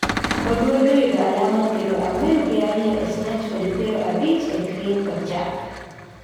Oduor noyudo alama piero ang'wen gi ariyo e Snatch kod piero abich e Clean kod Jerk